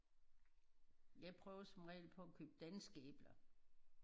Jeg prøver som regel på at købe danske æbler